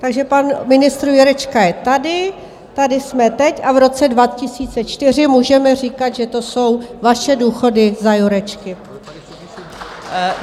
Takže pan ministr Jurečka je tady, tady jsme teď a v roce 2024 můžeme říkat, že to jsou vaše důchody za Jurečky.